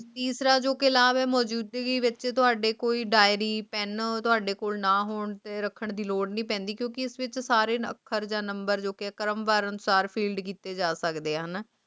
ਖਾਂਦੇ ਸੀ ਪਰ ਅਜੋਕੇ ਲਾਵੇ ਮੌਜੂਦਗੀ ਵਿਚ ਅਤੇ ਤੁਹਾਡੇ ਕੋਈ ਡਾਇਰੀ ਪਹਿਲਾਂ ਤੁਹਾਡੇ ਕੋਲ ਨਾ ਹੋਣ ਤੇ ਰੱਖਣ ਦੀ ਲੋੜ ਨੀ ਪੈਂਦੀ ਕਿਉਂਕਿ ਸਥਿਤ ਸਾਰੇ ਦਫਤਰਾਂ ਨੰਬਰ ਫੀ ਕਿੱਤੇ ਜਾ ਸਕਦੇ ਹੈ